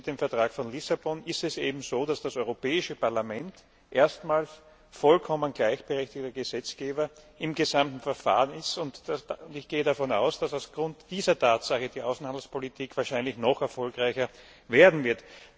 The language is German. Mit dem Vertrag von Lissabon ist es nun so, dass das Europäische Parlament erstmals vollkommen gleichberechtigter Gesetzgeber im gesamten Verfahren ist, und ich gehe davon aus, dass aufgrund dieser Tatsache die Außenhandelspolitik wahrscheinlich noch erfolgreicher werden wird.